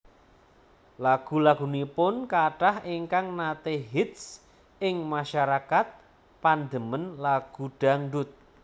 Lagu lagunipun kathah ingkang nate hits ing masyarakat pandemen lagu dangdut